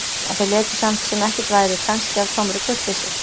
En þeir létu samt sem ekkert væri, kannski af tómri kurteisi.